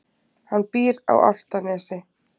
Hann býr á Álftanesi.